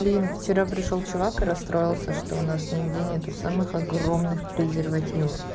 блин вчера пришёл чувак и расстроился что у нас нигде нету самых огромных презервативов